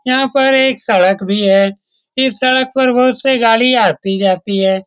यहाँ पर एक सड़क भी हैं इस सड़क पर बहुत से गाड़ी आती-जाती हैं।